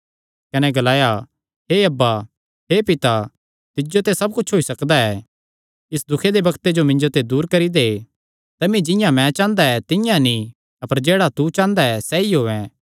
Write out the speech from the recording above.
कने ग्लाया हे अब्बा हे पिता तिज्जो ते सब कुच्छ होई सकदा ऐ इस दुखे दे बग्ते जो मिन्जो ते दूर करी दे तमी जिंआं मैं चांह़दा तिंआं नीं अपर जेह्ड़ा तू चांह़दा ऐ सैई होयैं